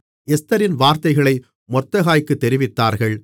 எஸ்தரின் வார்த்தைகளை மொர்தெகாய்க்குத் தெரிவித்தார்கள்